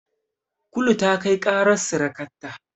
Kulu ta kai ƙarar sirikarta.